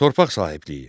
Torpaq sahibliyi.